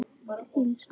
Þín sama